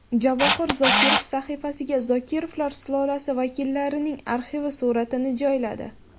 Javohir Zokirov sahifasiga Zokirovlar sulolasi vakillarining arxiv suratini joyladi.